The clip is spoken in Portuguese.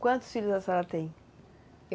Quantos filhos a senhora tem?